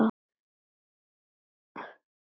Af hverju sagði ég já?